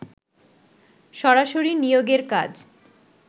সরাসরি নিয়োগের কাজ